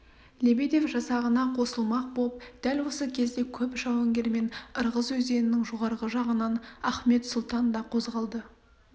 лебедев жасағына қосылмақ боп дәл осы кезде көп жауынгермен ырғыз өзенінің жоғарғы жағынан ахмет сұлтан да қозғалды